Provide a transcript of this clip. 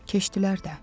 Keçdilər də.